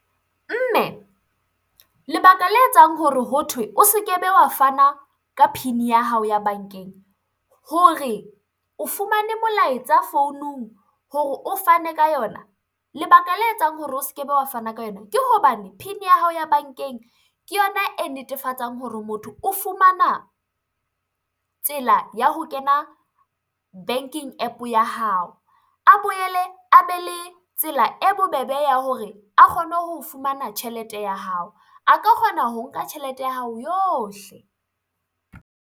Mme, lebaka le etsang hore ho thwe o se ke be wa fana ka PIN ya hao ya bankeng, hore o fumane molaetsa founung hore o fane ka yona lebaka le etsang hore o se ke be wa fana ka yona ke hobane, PIN ya hao ya bankeng ke yona e netefatsang hore motho o fumana tsela ya ho kena banking app ya hao, a boele a be le tsela e bobebe ya hore a kgone ho fumana tjhelete ya hao. A ka kgona ho nka tjhelete ya hao yohle.